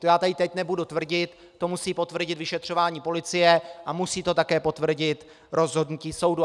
To já tady teď nebudu tvrdit, to musí potvrdit vyšetřování policie a musí to také potvrdit rozhodnutí soudu.